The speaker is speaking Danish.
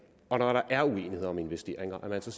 og når der er uenighed om investeringer at man så